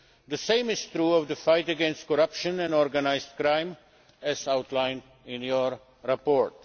The same is true of the fight against corruption and organised crime, as outlined in your report.